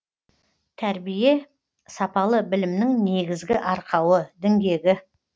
тәрбие сапалы білімнің негізгі арқауы діңгегі